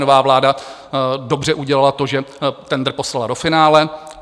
Nová vláda dobře udělala to, že tendr poslala do finále.